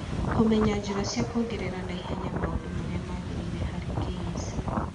Kũmenya njĩra cia kwongerera na ihenya maũndũ marĩa magĩrĩire harĩ KEC